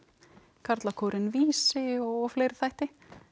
karlakórinn Vísi og fleiri þætti